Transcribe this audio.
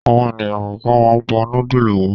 Àwọn ènìyàn kọ̀ọ̀kan máa ń bọ núdúlù wọn.